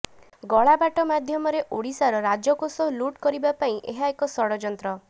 ଗଳାବାଟ ମାଧ୍ୟମରେ ଓଡ଼ିଶାର ରାଜକୋଷ ଲୁଟ୍ କରିବା ପାଇଁ ଏହା ଏକ ଷଡ଼ଯନ୍ତ୍ର